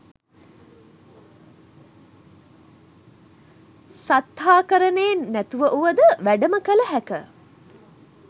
සත්තාහකරණයෙන් නැතිව වුවද වැඩම කළ හැක.